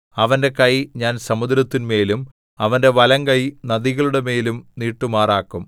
അവന്റെ കൈ ഞാൻ സമുദ്രത്തിന്മേലും അവന്റെ വലങ്കൈ നദികളുടെമേലും നീട്ടുമാറാക്കും